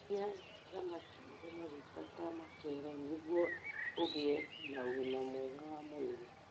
Iria thamaki irĩ maguta ta mackerel nĩguo ũgĩe na ũgima mwega wa mwĩrĩ.